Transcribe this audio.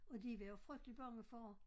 Og de var jo frygteligt bange for